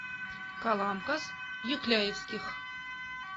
каламкас юкляевских